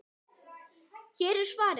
Hér er svarið.